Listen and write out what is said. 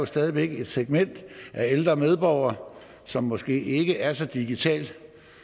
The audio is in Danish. stadig væk er et segment af ældre medborgere som måske ikke er så digitalt